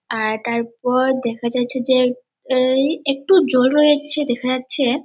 আর তারপর দেখা যাচ্ছে যে এ একটু জল রয়েছে দেখা যাচ্ছে।